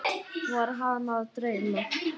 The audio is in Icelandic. Var hana að dreyma?